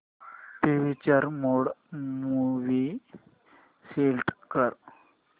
picture mode movie select कर